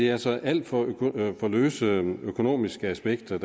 er altså alt for for løse økonomiske aspekter